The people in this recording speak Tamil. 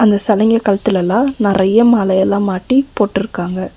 இந்த செலங்கெ கழுத்துலலா நெறைய மாலையெல்லா மாட்டி போட்டிருக்காங்க.